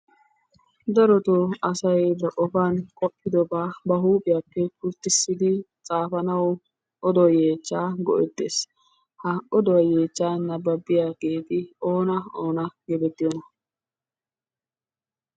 Darotoo asay ba qofan qoppidobaa ba huuphphiyappe pulttissidi xaafanawu oduwa yeechchaa go'ettees. Ha oduwa yeechchaa ha oduwa yeechchaa nababiyageeti oona oona geetettiyoonaa?